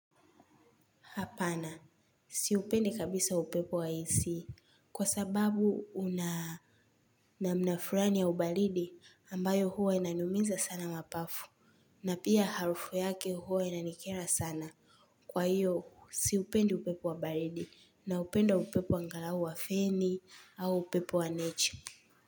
Hapana, siupendi kabisa upepo wa AC kwa sababu una namna fulani ya ubaridi ambayo huwa inaniumiza sana mapafu na pia harufu yake huwa inanikera sana. Kwa hiyo, siupendi upepo wa baridi naupenda upepo angalau wa feni au upepo wa nature.